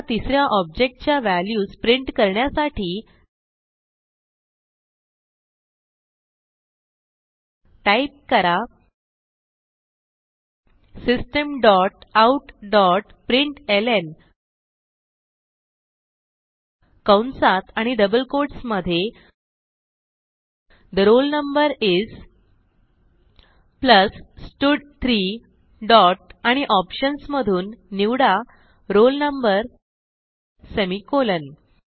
आता तिस या ऑब्जेक्ट च्या व्हॅल्यूज प्रिंट करण्यासाठी टाईप करा system dot out dot println कंसात आणि डबल कोट्स मधे ठे roll no इस प्लस स्टड3 डॉट आणि ऑप्शन्स मधून निवडा roll no सेमिकोलॉन